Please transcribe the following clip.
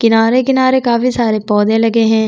किनारे-किनारे काफी सारे पौधे लगे है।